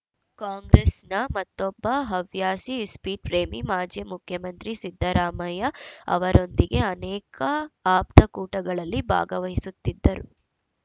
ಕಾಂಗ್ರೆಸ್‌ನ ಮತ್ತೊಬ್ಬ ಹವ್ಯಾಸಿ ಇಸ್ಪೀಟ್‌ ಪ್ರೇಮಿ ಮಾಜಿ ಮುಖ್ಯಮಂತ್ರಿ ಸಿದ್ದರಾಮಯ್ಯ ಅವರೊಂದಿಗೆ ಅನೇಕ ಆಪ್ತಕೂಟಗಳಲ್ಲಿ ಭಾಗವಹಿಸುತ್ತಿದ್ದರು